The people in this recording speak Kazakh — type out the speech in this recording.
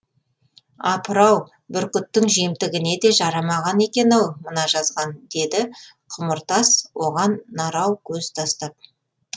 апырау бүркіттің жемтігіне де жарамаған екен ау мына жазған деді құмыртас оған нарау көз тастап